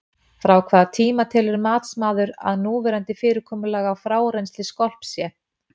Frá hvaða tíma telur matsmaður að núverandi fyrirkomulag á frárennsli skolps sé?